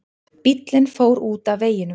Bíllinn fór út af veginum